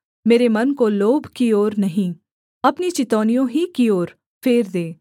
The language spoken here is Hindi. मेरे मन को लोभ की ओर नहीं अपनी चितौनियों ही की ओर फेर दे